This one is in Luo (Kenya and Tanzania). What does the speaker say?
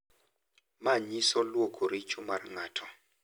Manyiso lwoko richo mar ng'ato